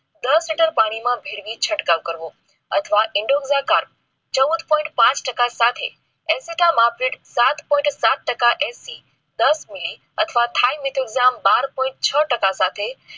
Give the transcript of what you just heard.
દસ લિટર પાણીમાં મેળવી ચટકાવ કરવો અથવા ચૌદ point ટાકા સાથે સાત point સાત ટકા સાથે EC દસ મીલી અથવા બાર point છ ટાકા સાથે